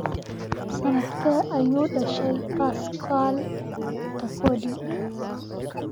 Sanadkee ayuu dhashay Pascal Tokodi?